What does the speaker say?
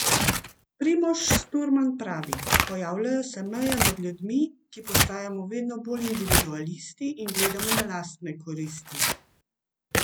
Primož Sturman pravi: "Pojavljajo se meje med ljudmi, ki postajamo vedno bolj individualisti in gledamo na lastne koristi.